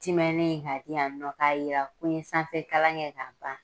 Timɛnnen k'a di yan nɔ k'a jira ko n ye sanfɛ kalan kɛ k'a ban